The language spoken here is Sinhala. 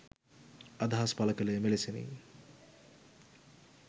අදහස් පළ කළේ මෙලෙසිනි